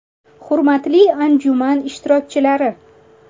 Hurmatli anjuman ishtirokchilari!